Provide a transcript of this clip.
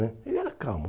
né Ele era calmo.